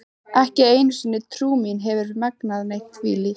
Ekki einu sinni trú mín hefur megnað neitt þvílíkt.